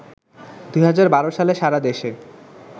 ২০১২ সালে সারা দেশে